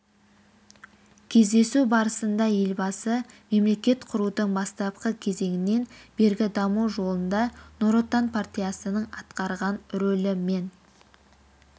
кездесу барысында елбасы мемлекет құрудың бастапқы кезеңінен бергі даму жолында нұр отан партиясының атқарған рөлі мен